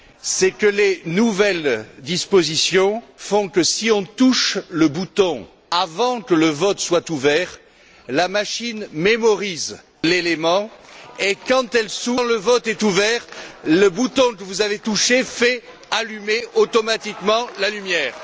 C'est que les nouvelles dispositions font que, si on touche le bouton avant que le vote soit ouvert, la machine mémorise l'élément, et quand le vote est ouvert, le bouton que vous avez touché allume automatiquement la lumière.